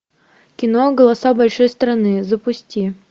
кино голоса большой страны запусти